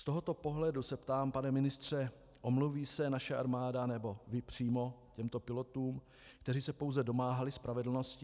Z tohoto pohledu se ptám, pane ministře: Omluví se naše armáda nebo vy přímo těmto pilotům, kteří se pouze domáhali spravedlnosti?